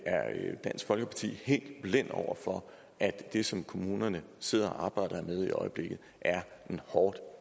dansk folkeparti helt blind over for at det som kommunerne sidder og arbejder med i øjeblikket er en hårdt